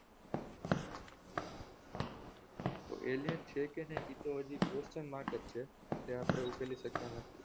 તો alien છે કે નઈ એ તો હજી question mark જ છે જે આપણે ઉકેલી સકતા નથી